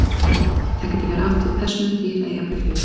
Þar getur verið átt við persónu, dýr eða jafnvel hlut.